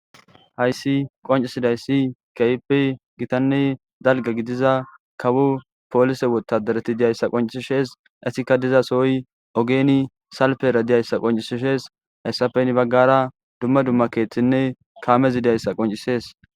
Hayssi qoncisidayssi keype gitanne dalga gidiza kawo poolise wotadareti diyayssa qoncisishees esikka diza sooy ogeeni salpera diyayssa qoncisishees hayssafen baggara dumma dumma keeththinne kaamezidayssa qoncisees